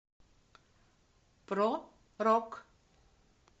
про рок